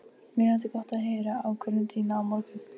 Edda sest í skutinn en Hemmi undir árar.